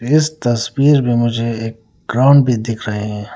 इस तस्वीर में मुझे एक ग्राउंड भी दिख रहे हैं।